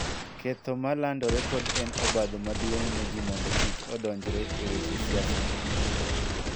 Ketho ma landore pod en obadho maduong� ne ji mondo kik odonjre e weche siasa